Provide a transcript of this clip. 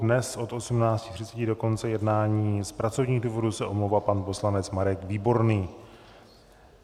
Dnes od 18.30 do konce jednání z pracovních důvodů se omlouvá pan poslanec Marek Výborný.